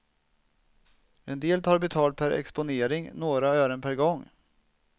En del tar betalt per exponering, några ören per gång.